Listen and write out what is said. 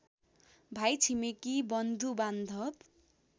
भाइ छिमेकी बन्धुबान्धव